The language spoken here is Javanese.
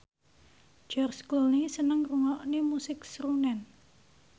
George Clooney seneng ngrungokne musik srunen